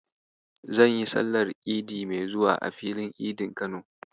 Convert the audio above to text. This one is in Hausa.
Zan yi sallar Idi mai zuwa a Filin Idin Kano.